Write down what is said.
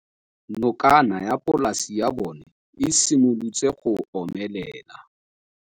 Nokana ya polase ya bona, e simolola go omelela.